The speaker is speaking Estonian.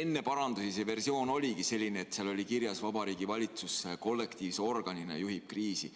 enne parandusi oligi selline, et seal oli kirjas: Vabariigi Valitsus kollektiivse organina juhib kriisi.